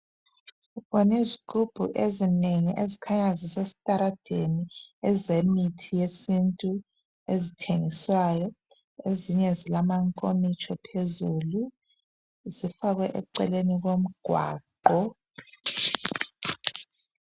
mbona izigubhu ezinengi ezikhanya zisesitaradeni ezemithi yesintu ezithengiswayo ezinye zilamankomitsho phezulu zifakwe eceleni komgwaqo